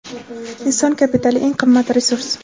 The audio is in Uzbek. Inson kapitali — eng qimmat resurs.